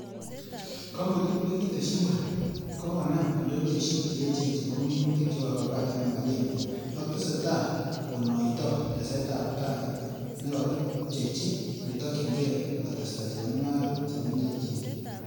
Kompunit nekitesyi muren, kokonam indonyoisiek cheechen chebo minutik cheu avocado ak macadamia, ak tesetai konoito tesetab tai nekakimpchei netokyinge kotesta chemungarok che mengechen.